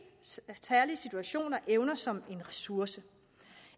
særlige situation og evner som en ressource